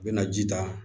U bɛna ji ta